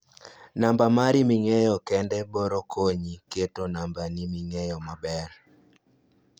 namba mari ming'eyo kendi boro konyi keto nambi ming'eyo maber